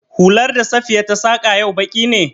Hular da Safiya ta saƙa yau baƙi ne?